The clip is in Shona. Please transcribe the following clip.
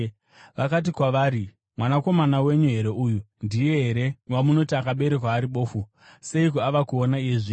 Vakati kwavari, “Mwanakomana wenyu here uyu? Ndiye here wamunoti akaberekwa ari bofu? Seiko ava kuona iye zvino?”